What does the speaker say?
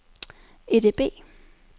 EDB